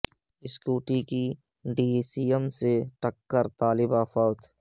scooty کو D C M کی ٹکر سے طالبہ فوت